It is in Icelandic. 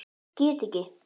Get ekki.